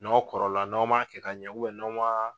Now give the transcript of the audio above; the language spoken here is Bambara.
N'aw kɔrɔla n'aw m'a kɛ ka ɲɛ n'aw ma